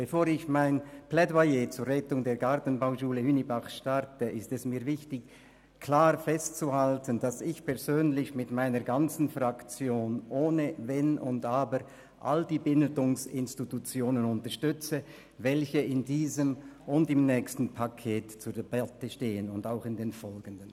Bevor ich mein Plädoyer zur Rettung der Gartenbauschule Hünibach starte, ist es mir wichtig, klar festzuhalten, dass ich persönlich mit meiner ganzen Fraktion ohne Wenn und Aber alle Bildungsinstitutionen unterstütze, welche in diesem und im nächsten Paket sowie in den folgenden Paketen zur Debatte stehen.